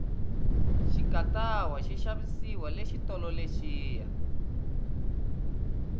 xikatawa xi xavisiwa le xitolo lexiya